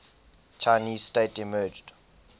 chinese state emerged